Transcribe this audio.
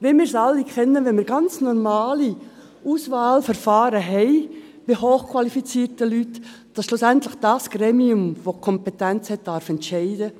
Wie wir es alle kennen, wenn wir ganz normale Auswahlverfahren bei hochqualifizierten Leuten haben, darf schlussendlich das Gremium mit der Kompetenz entscheiden.